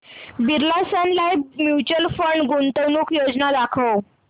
Birla sun life mutual fund गुंतवणूक योजना दाखव